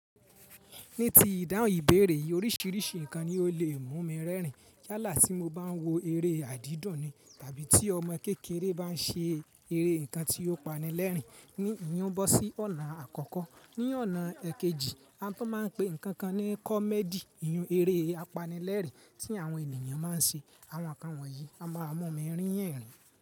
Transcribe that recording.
Ní ti ìdáhùn ìbéèrè oríṣiríṣi nǹkan ni ó lè mú mi rẹ́rìn. Yálà tí mo bá ń wo eré àdídọ̀n ni, tàbí tí ọmọ kékeré bá ń ṣe eré nǹkan tí ó pani lẹ́rìn, ní ìyin o bọ́ sí ọ̀nà àkọ́kọ́. Ní ọ̀nà èkejì, a tún máa ń pe nǹkan kan ní comedy ìyún eré apanilẹ́rìn tí àwọn ènìyàn máa ń ṣe. Àwọn nǹkan wọ̀nyí máa mú mi rín ẹ̀rín.